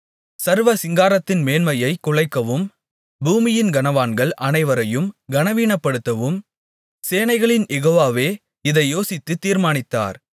சர்வ சிங்காரத்தின் மேன்மையைக் குலைக்கவும் பூமியின் கனவான்கள் அனைவரையும் கனவீனப்படுத்தவும் சேனைகளின் யெகோவாவே இதை யோசித்துத் தீர்மானித்தார்